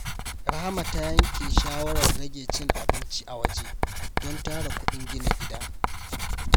Rahama ta yanke shawarar rage cin abinci a waje don tara kuɗin gina gida.